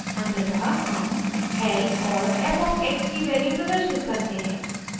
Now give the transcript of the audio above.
अंततः हम l और f of x की वैल्यू प्रदर्शित करते हैं